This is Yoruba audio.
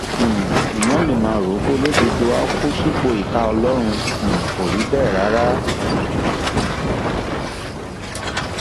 um èèyàn ló máa ń rò pé olódodo áà kù sípò ìkà ọlọrun um kò rí bẹẹ rárá